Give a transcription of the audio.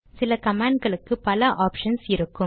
சில கமாண்ட் களுக்கு பல ஆப்ஷன்ஸ் இருக்கும்